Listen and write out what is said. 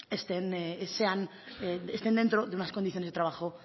estén dentro de unas condiciones de trabajo